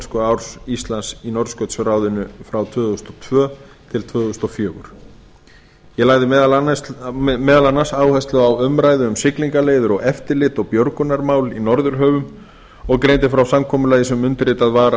formennskuárs íslands í norðurskautsráðinu árið tvö þúsund og tvö til tvö þúsund og fjögur ég lagði meðal annars áherslu á umræðu um siglingaleiðir eftirlit og björgunarmál í norðurhöfum og greindi frá samkomulagi sem undirritað var